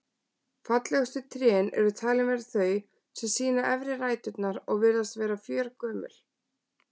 Fallegustu trén eru talin vera þau sem sýna efri ræturnar og virðast vera fjörgömul.